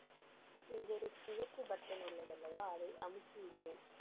இங்க ஒரு சிவப்பு button உள்ளது அல்லவா? அதை அமுக்கி விடுவேன்.